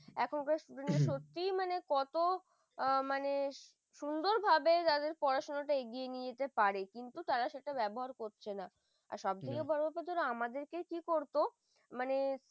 এখনকার student দের সত্যিই মানে হম কত মানে সুন্দরভাবে জাদের পড়াশোনা এগিয়ে নিতে পারে কিন্তু তারা সেটা ব্যবহার করছে না আর সব থেকে বড় আপা যেটা আমাদেরকে কি করত মানে